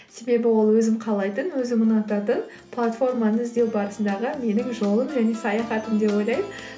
себебі ол өзім қалайтын өзім ұнататын платформаны іздеу барысындағы менің жолым және саяхатым деп ойлаймын